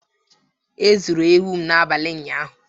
E zuru ewu m n'abalị ụnyaahụ.